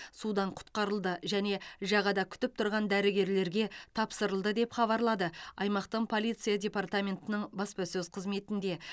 судан құтқарылды және жағада күтіп тұрған дәрігерлерге тапсырылды деп хабарлады аймақтың полиция департаментінің баспасөз қызметінде